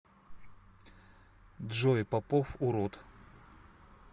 джой попов урод